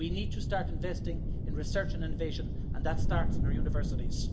We need to start investing in research and innovation and that starts in our universities.